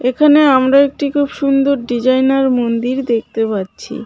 এখানে আমরা একটি খুব সুন্দর ডিজাইনার মন্দির দেখতে পাচ্ছি.